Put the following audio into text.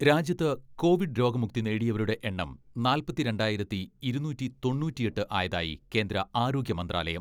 രാജ്യത്ത് കോവിഡ് രോഗമുക്തി നേടിയവരുടെ എണ്ണം നാല്പത്തിരണ്ടായിരത്തി ഇരുനൂറ്റി തൊണ്ണൂറ്റിയെട്ട് ആയതായി കേന്ദ്ര ആരോഗ്യമന്ത്രാലയം.